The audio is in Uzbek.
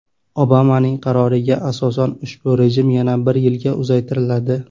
Obamaning qaroriga asosan ushbu rejim yana bir yilga uzaytiriladi.